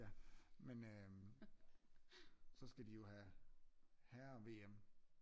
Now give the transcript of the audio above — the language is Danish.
Ja men øhm så skal de jo have herre VM